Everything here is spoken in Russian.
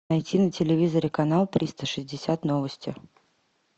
найти на телевизоре канал триста шестьдесят новости